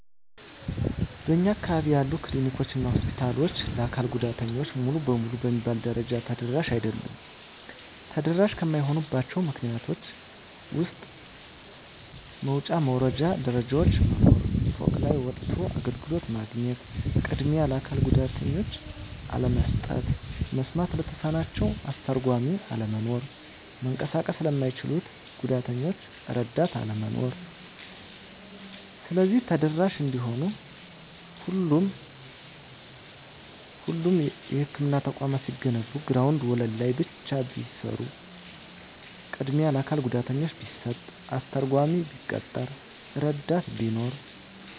በእኛ አካባቢ ያሉ ክሊኒኮች እና ሆስፒታሎች ለአካል ጉዳተኞች ሙሉ በሙሉ በሚባል ደረጃ ተደራሽ አይደሉም። ተደራሽ ከማይሆኑባቸው ምክንያቶች ውስጥ መውጫ መውረጃ ደረጃዎች መኖር፤ ፎቅ ላይ ወጥቶ አገልግሎት ማግኘት፤ ቅድሚያ ለአካል ጉዳተኞች አለመስጠት፤ መስማት ለተሳናቸው አስተርጓሚ አለመኖር፤ መንቀሳቀስ ለማይችሉት ጉዳተኞች እረዳት አለመኖር። ስለዚህ ተደራሽ እንዲሆኑ ሁሎቹም የህክምና ተቋማት ሲገነቡ ግራውንድ ወለል ላይ ብቻ ቢሰሩ፤ ቅድሚያ ለአካል ጉዳተኛ ቢሰጥ፤ አስተርጓሚ ቢቀጠር፤ እረዳት ቢኖር።